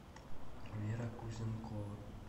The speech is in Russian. вера кузенкова